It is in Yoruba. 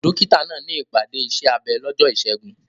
Dókítà náà ní ìpàdé iṣẹ́ abẹ lọ́jọ́ Ìṣẹ́gun.